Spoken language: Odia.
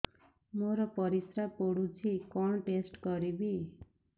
ମୋର ପରିସ୍ରା ପୋଡୁଛି କଣ ଟେଷ୍ଟ କରିବି